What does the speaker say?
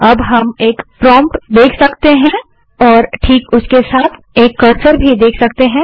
अब हम एक प्रोम्प्ट देख सकते हैं और ठीक उसके साथ एक कर्सर भी देख सकते हैं